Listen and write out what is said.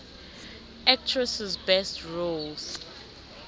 actresses best roles